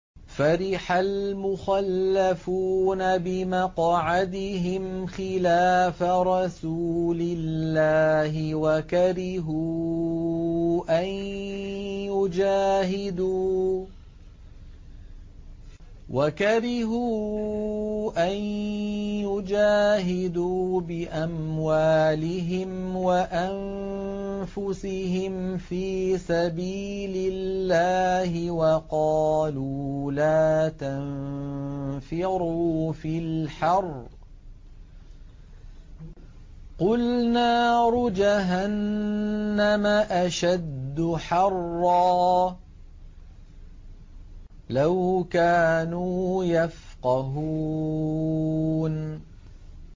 فَرِحَ الْمُخَلَّفُونَ بِمَقْعَدِهِمْ خِلَافَ رَسُولِ اللَّهِ وَكَرِهُوا أَن يُجَاهِدُوا بِأَمْوَالِهِمْ وَأَنفُسِهِمْ فِي سَبِيلِ اللَّهِ وَقَالُوا لَا تَنفِرُوا فِي الْحَرِّ ۗ قُلْ نَارُ جَهَنَّمَ أَشَدُّ حَرًّا ۚ لَّوْ كَانُوا يَفْقَهُونَ